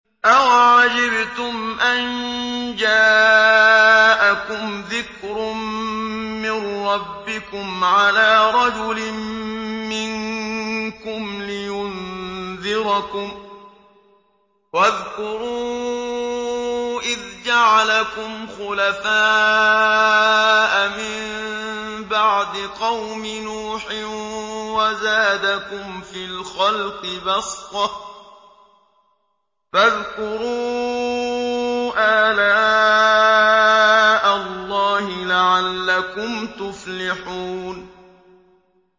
أَوَعَجِبْتُمْ أَن جَاءَكُمْ ذِكْرٌ مِّن رَّبِّكُمْ عَلَىٰ رَجُلٍ مِّنكُمْ لِيُنذِرَكُمْ ۚ وَاذْكُرُوا إِذْ جَعَلَكُمْ خُلَفَاءَ مِن بَعْدِ قَوْمِ نُوحٍ وَزَادَكُمْ فِي الْخَلْقِ بَسْطَةً ۖ فَاذْكُرُوا آلَاءَ اللَّهِ لَعَلَّكُمْ تُفْلِحُونَ